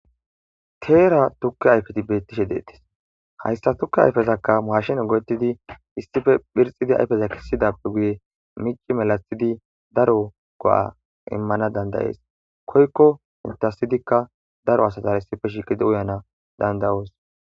Teera tukke ayfeti beettishe deettis hayssa tukke ayfezakka maashin go7ettidi issife phirxidi ayfeza kissidappe guye mici melatshidi daro go7a immana dandayees koykko intasidikka daro asatar issife shiqidi uyana dandayoos